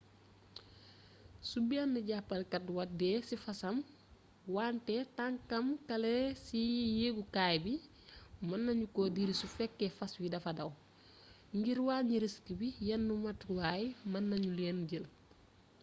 su benn jaabalkat wàddee ci fasam wante tànkam kale a ci yeegukaay bi mën nanu ko diri su fekkee fas wi dafa daw ngir wàññi risk bi yenn motuwaay mën nanu leen jël